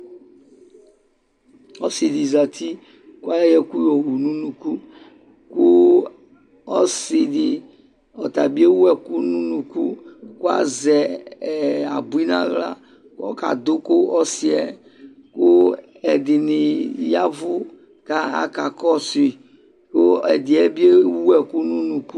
Ɔsɩdɩ zati kʋayɔ ɛkʋ yowu n'unuku; kʋ ɔsɩdɩ ɔtabɩ ewu ɛkʋ n'unuku K'azɛ ɛ abui n'aɣla k'ɔkadʋ kʋ ɔsɩɛ Kʋ ɛdɩnɩ yavʋ k'aka kɔsʋyɩ kʋ ɛdɩɛ bɩ ewu ɛkʋ n'unuku